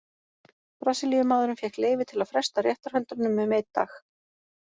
Brasilíumaðurinn fékk leyfi til að fresta réttarhöldunum um einn dag.